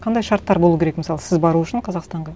қандай шарттар болу керек мысалы сіз бару үшін қазақстанға